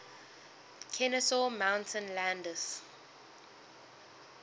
kenesaw mountain landis